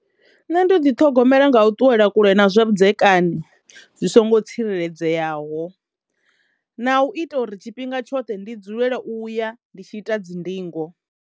Nṋe ndo ḓi ṱhogomela nga u ṱuwela kule na zwavhudzekani zwi songo tsireledzeaho na u ita uri tshifhinga tshoṱhe ndi dzulele u ya ndi tshi ita dzi ndingo.